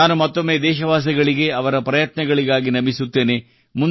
ನಾನು ಮತ್ತೊಮ್ಮೆ ದೇಶವಾಸಿಗಳಿಗೆ ಅವರ ಪ್ರಯತ್ನಗಳಿಗಾಗಿ ನಮಿಸುತ್ತೇನೆ